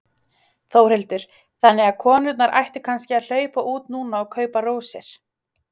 Þórhildur: Þannig að konurnar ættu kannski að hlaupa út núna og kaupa rósir?